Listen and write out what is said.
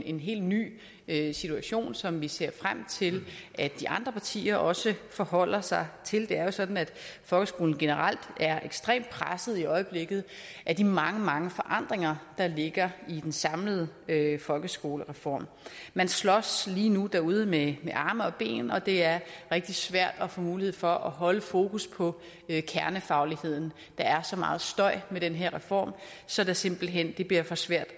en helt ny situation som vi ser frem til at de andre partier også forholder sig til det er jo sådan at folkeskolen generelt er ekstremt presset i øjeblikket af de mange mange forandringer der ligger i den samlede folkeskolereform man slås lige nu derude med arme og ben og det er rigtig svært at få mulighed for at holde fokus på kernefagligheden der er så meget støj med den her reform så det simpelt hen bliver for svært